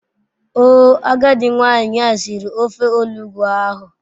Oo agadi nwanyi a siri ofe olugbu ahu